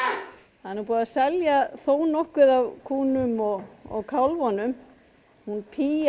það er nú búið að selja þó nokkuð af kúnum og kálfunum og hún